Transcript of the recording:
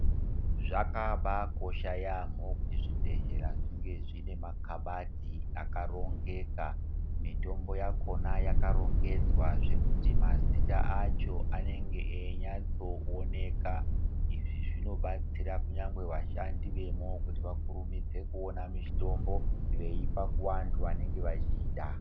Zvakabaakosha yamho kuti zvibhehleya zvinge zvine makabati akarongeka mitombo yakona yakarongedzwa zvekuti mazita acho anenge einyatso oneka izvi zvinobatsira kunyange vashandi vemwo kuti vakurumidze kuoona mitombo veipa kunevanhu vanenge vachiida.